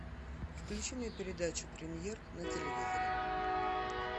включи мне передачу премьер на телевизоре